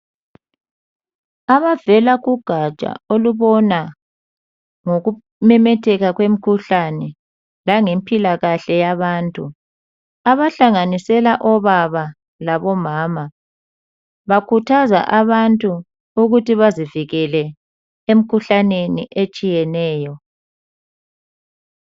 Abavela kugatsha olubona ngokumemetheka kwemkhuhlane langempilakahle yabantu abahlanganisela obaba labomama bakhuthaza abantu ukuthi bazivikele emkhuhlaneni etshiyeneyo